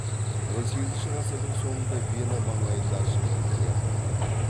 он сегізінші ғасырдың соңында вена маңайында ашылған театрларда